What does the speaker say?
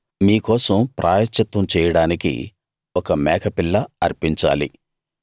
మీ కోసం ప్రాయశ్చిత్తం చెయ్యడానికి ఒక మేకపిల్ల అర్పించాలి